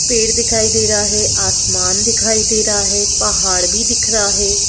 पेड़ दिखाई दे रहा है आसमान दिखाई दे रहा है पहाड़ भी दिख रहा है।